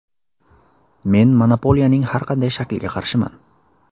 Men monopoliyaning har qanday shakliga qarshiman.